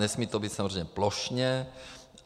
Nesmí to být samozřejmě plošně.